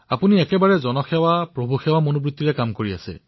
আপোনালোকে এক জনসেৱা প্ৰভুসেৱাৰ মানসিকতাৰে কামত নামি পৰিছে